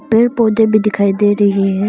पेड़ पौधे भी दिखाई दे रही है।